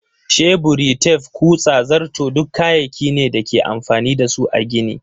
Sheburi, tef, kutsa, zarto duk kayaki ne da ake amfani da su a gini.